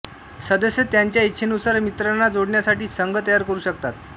सदस्य त्यांच्या इच्छेनुसार मित्रांना जोडण्यासाठी संघ तयार करू शकतात